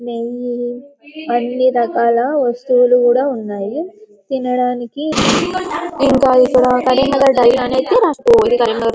నెయ్యి అన్ని రకాల వస్తువులు కూడా ఉన్నాయి తినడానికి ఇక్కడ ఇంకా కరీంనగర్ డైరీ అయితే రాసింది --